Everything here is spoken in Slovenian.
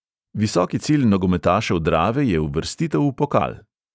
Visoki cilj nogometašev drave je uvrstitev v pokal.